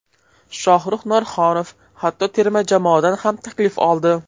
Shohruz Norxonov hatto terma jamoadan ham taklif oldi”.